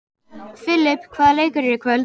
Filip, hvaða leikir eru í kvöld?